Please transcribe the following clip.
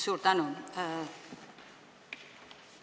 Suur tänu!